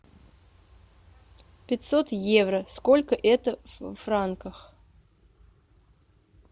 пятьсот евро сколько это в франках